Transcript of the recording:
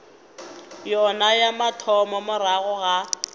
yona ya mathomo morago ga